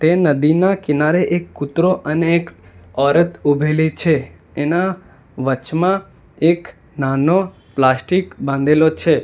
એ નદીના કિનારે એક કૂતરો અને એક ઓરત ઊભેલી છે એના વચમાં એક નાનો પ્લાસ્ટિક બાંધેલો છે.